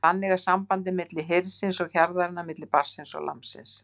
Þannig er sambandið milli hirðisins og hjarðarinnar, milli barnsins og lambsins.